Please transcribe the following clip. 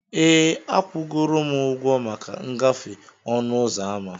Ee, akwụgoro m ụgwọ maka ngafe ọnụ ụzọ ámá.